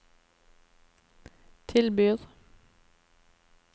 tilbyr